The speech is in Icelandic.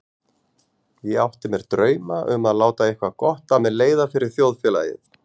Ég átti mér drauma um að láta eitthvað gott af mér leiða fyrir þjóðfélagið.